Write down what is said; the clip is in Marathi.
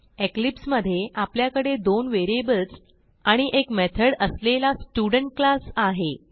इक्लिप्स मधे आपल्याकडे दोन व्हेरिएबल्स आणि एक मेथड असलेला स्टुडेंट क्लास आहे